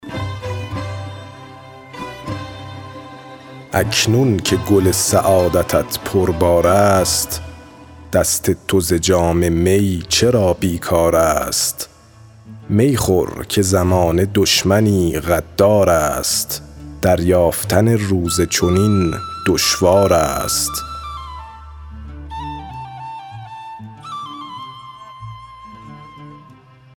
اکنون که گل سعادتت پربار است دست تو ز جام می چرا بیکار است می خور که زمانه دشمنی غدار است دریافتن روز چنین دشوار است